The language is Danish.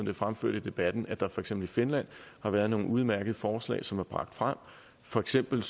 er fremført i debatten at der for eksempel i finland har været nogle udmærkede forslag som er bragt frem for eksempel